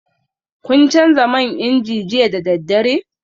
Kun canza man inji jiya da daddare?